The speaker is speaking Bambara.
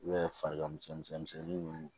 U bɛ farigan misɛnnin ninnu